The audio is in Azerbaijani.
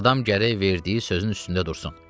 Adam gərək verdiyi sözün üstündə dursun.